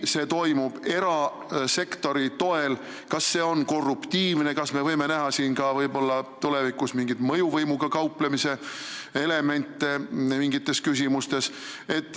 Kui see toimub erasektori toel, kas see on korruptiivne ja kas me võime siin näha mingites küsimustes mõjuvõimuga kauplemise elemente?